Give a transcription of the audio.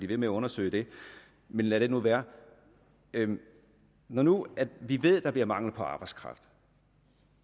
ved med at undersøge det men lad det nu være når nu vi ved at der bliver mangel på arbejdskraft